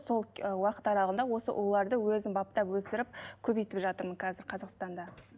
сол уақыт аралығында осы ұлуларды өзім баптап өсіріп көбейтіп жатырмын қазір қазақстанда